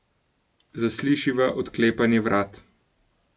Zaslišiva odklepanje vrat.